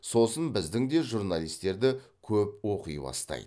сосын біздің де журналистерді көп оқи бастайды